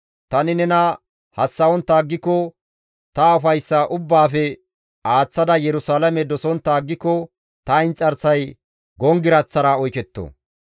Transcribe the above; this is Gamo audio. Tani nena hassa7ontta aggiko ta ufayssa ubbaafe aaththada Yerusalaame dosontta aggiko ta inxarsay gonggiraththara oyketto.